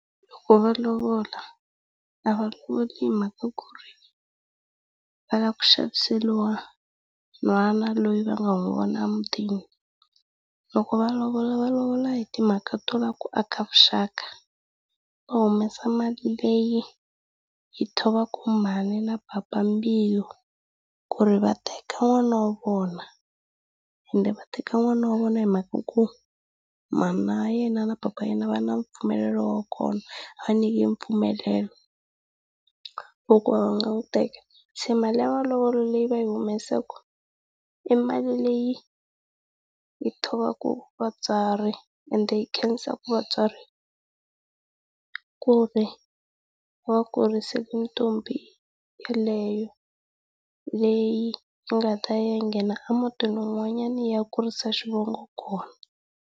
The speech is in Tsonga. va lovola a va lovoli hi mhaka ku ri va lava ku xaviseriwa nhwana loyi va nga n'wi vona emutini. Loko va lovola va lovola hi timhaka to lava ku aka vuxaka mhaka to tala ku xa byela nhwana loyi vanga hi vona mutini loko malovola hi timhaka tola ku aka vuxaka. Va humesa mali leyi yi thovaka mhani na papa mbilu ku ri va teka n'wana wa vona. Ende va teka n'wana wa vona hi mhaka ku mhana yena na papa yena va na mpfumelelo wa kona va nyike mpfumelelo wa ku va nga n'wi teka. Se mali ya malovolo leyi va yi humesaka i mali leyi yi thovaka vatswari ende yi khensaka vatswari ku ri va kurisile ntombi yeleyo, leyi yi nga ta ya yi ya nghena emutini wun'wanyana yi ya kurisa xivongo kona.